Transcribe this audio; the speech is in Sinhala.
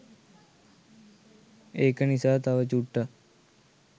ඒක නිසා තව චුට්ටක්